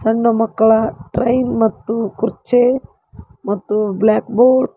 ಸಣ್ಣ ಮಕ್ಕಳ ಟ್ರೈನ್ ಮತ್ತು ಕುರ್ಚಿ ಮತ್ತು ಬ್ಲಾಕ್ ಬೋರ್ಡ್ .